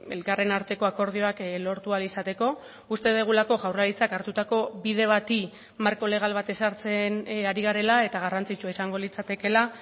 elkarren arteko akordioak lortu ahal izateko uste dugulako jaurlaritzak hartutako bide bati marko legal bat ezartzen ari garela eta garrantzitsua izango litzatekeela